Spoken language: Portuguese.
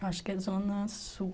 Acho que é Zona Sul.